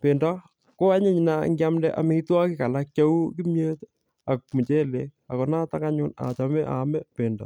Pendo ko anyiny nea ngiamde amitwogik alak cheu kimyet ak muchelek. Ako notok anyun achame aame pendo.